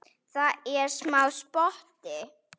Það er smá spotti.